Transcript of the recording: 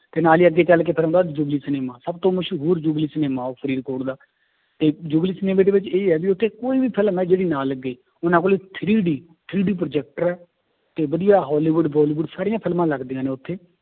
ਤੇ ਨਾਲੇ ਹੀ ਅੱਗੇ ਚੱਲ ਕੇ ਫਿਰ ਆਉਂਦਾ ਸਿਨੇਮਾ ਸਭ ਤੋਂ ਮਸ਼ਹੂਰ ਸਿਨੇਮਾ ਉਹ ਫਰੀਦਕੋਟ ਦਾ, ਤੇ ਸਿਨੇਮਾ ਦੇ ਵਿੱਚ ਇਹ ਆ ਵੀ ਉੱਥੇ ਕੋਈ ਵੀ film ਹੈ ਜਿਹੜੀ ਨਾ ਲੱਗੇ ਉਹਨਾਂ ਕੋਲੇ three D three D projector ਹੈ, ਤੇ ਵਧੀਆ ਹੋਲੀਵੁਡ ਬੋਲੀਵੁਡ ਸਾਰੀਆਂ ਫਿਲਮਾਂ ਲੱਗਦੀਆਂਂ ਨੇ ਉੱਥੇ